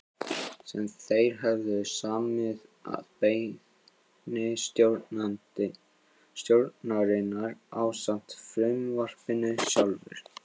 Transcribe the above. sem þeir höfðu samið að beiðni stjórnarinnar ásamt frumvarpinu sjálfu.